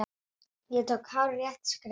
Ég tók hárrétt skref.